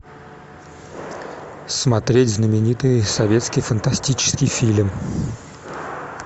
смотреть знаменитый советский фантастический фильм